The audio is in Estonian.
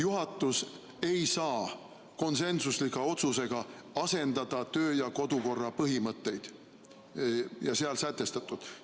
Juhatus ei saa konsensusliku otsusega asendada töö- ja kodukorra põhimõtteid ja seal sätestatut.